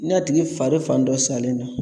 N'a tigi fari fan dɔ salen don